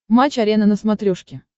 матч арена на смотрешке